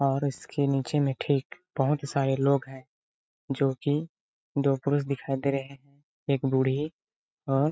और इसके नीचे में ठीक बहुत सारे लोग हैं जो कि दो पुरुष दिखाई दे रहे हैं एक बूढ़ी और --